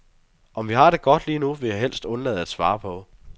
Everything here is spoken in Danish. Om vi har det godt lige nu, vil jeg helst undlade at svare på.